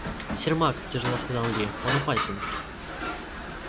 сермак тяжело сказал ли он опасен